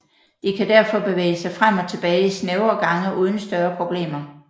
De kan derfor bevæge sig frem og tilbage i snævre gange uden større problemer